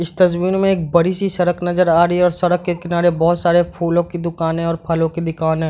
इस तस्वीर में एक बड़ी-सी सड़क नजर आ रही है और सड़क के किनारे बहुत सारे फूलों की दूकान हैं और फलों की दूकान है।